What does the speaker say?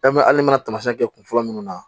n'i mana taamasiyɛn kɛ kun fɔlɔ minnu na